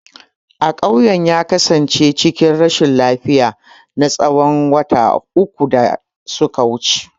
Akawun ya kasance cikin rashin lafiya na tsawon wata uku da suka wuce.